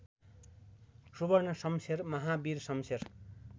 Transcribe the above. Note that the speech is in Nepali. सुवर्णशमशेर महावीरशमशेर